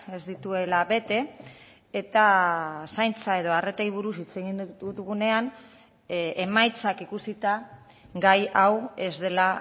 ez dituela bete eta zaintza edo arretei buruz hitz egin dugunean emaitzak ikusita gai hau ez dela